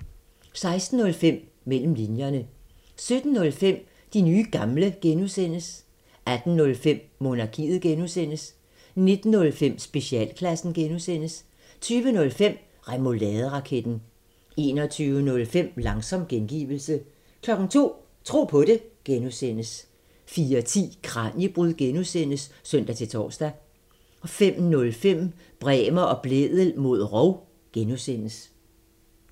16:05: Mellem linjerne 17:05: De nye gamle (G) 18:05: Monarkiet (G) 19:05: Specialklassen (G) 20:05: Remouladeraketten 21:05: Langsom gengivelse 02:00: Tro på det (G) 04:10: Kraniebrud (G) (søn-tor) 05:05: Bremer og Blædel mod rov (G)